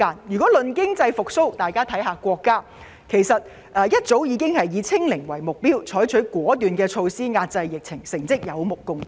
談到經濟復蘇，國家早已以"清零"為目標，採取了果斷措施遏制疫情，成績有目共睹。